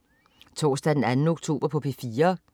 Torsdag den 2. oktober - P4: